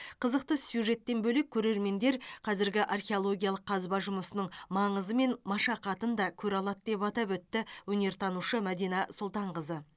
қызықты сюжеттен бөлек көрермендер қазіргі археологиялық қазба жұмысының маңызы мен машақатын да көре алады деп атап өтті өнертанушы мадина сұлтанқызы